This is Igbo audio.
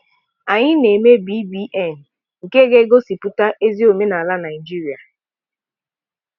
Anyị na-eme BBN nke ga-egosipụta ezi omenala Naijiria.